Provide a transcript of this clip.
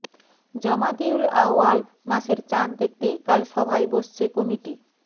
জমাদিউল আউয়াল মাসের চাঁদ দেখতে কাল সভায় বসছে কমিটি